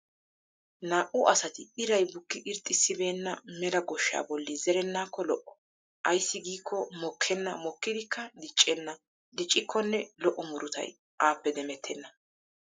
Naa'u asati iray bukki irxxissibeenna mela goshshaa bolli zerenaakko lo'o. Ayssi giikko mokkenna mokkidikka diccenna diccikkonne lo'o murutay aappe demettena.